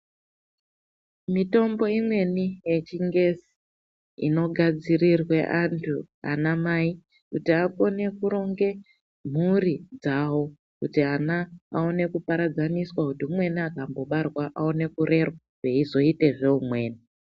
Mitombo imweni yechingezi inogadzirirwe antu anamai kuti akone kuronge mhuri dzawo, kuti ana aone kuparadzaniswa kuti umweni akambobarwa aone kurerwa veizoitezve umweni.